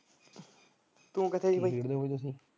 ਤੂੰ ਕਿੱਥੇ ਬਾਈ ਕੀ ਖੇਡਦੇ ਉੱਥੇ?